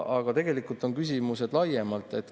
Aga tegelikult on küsimused laiemad.